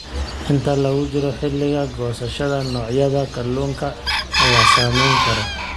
Inta lagu jiro xilliga goosashada, noocyada kalluunka ayaa saameyn kara.